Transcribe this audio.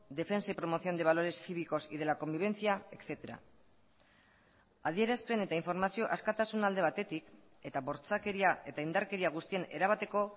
defensa y promoción de valores cívicos y de la convivencia etcétera adierazpen eta informazio askatasuna alde batetik eta bortxakeria eta indarkeria guztien erabateko